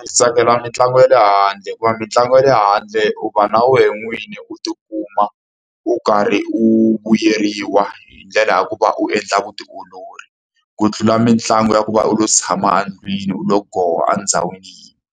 Ndzi tsakela mitlangu ya le handle, hikuva mitlangu ya le handle u va na wena n'wini u ti kuma u karhi u vuyeriwa hi ndlela ya ku va u endla vutiolori. Ku tlula mitlangu ya ku va u yo tshama endlwini u lo go ndhawini yin'we.